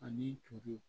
Ani juru